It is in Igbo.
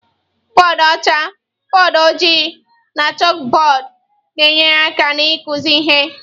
Bọdụ ọcha, bọọdụ ojii na chalkbọọdụ na-enyere aka n'ịkụzi ihe.